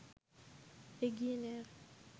এগিয়ে নেয়ার